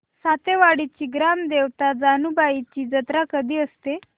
सातेवाडीची ग्राम देवता जानुबाईची जत्रा कधी असते